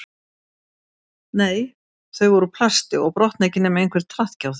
Nei, þau voru úr plasti og brotna ekki nema einhver traðki á þeim